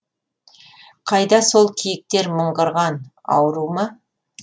қайда сол киіктер мыңғырған ауру ма